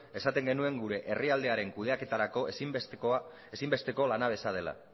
esaten genuen gure herrialdearen kudeaketarako ezinbesteko lanabesa dela